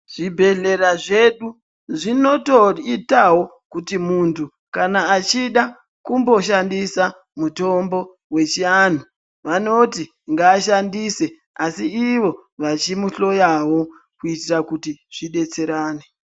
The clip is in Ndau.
Zvi bhedhlera zvedu zvinoto itawo kuti muntu kana achida kumbo shandisa mutombo wechi anhu vanoti nga shandise asi ivo vachimu hloyawo kuitira kuti zvi detserane.